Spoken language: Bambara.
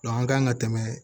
an kan ka tɛmɛ